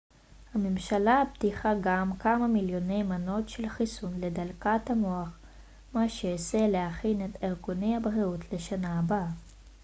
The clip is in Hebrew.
הממשלה הבטיחה גם כמה מיליוני מנות של חיסון לדלקת המוח מה שיסייע להכין את ארגוני הבריאות לשנה הבאה